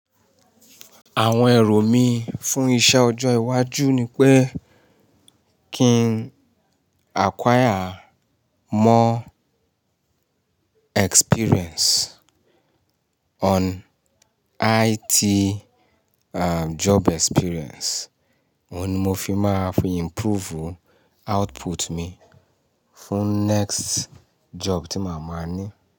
Àwọn èrò mí fún iṣẹ́ ọjọ́ iwájú ni pé kí n acquire more experience on IT and job experience. Óun ni mo fi máa fi improve output mi fún next job tí máa máa ní.